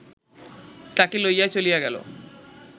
তাহাকে লইয়া চলিয়া গেল